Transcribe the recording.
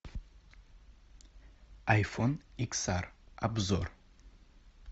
айфон икс ар обзор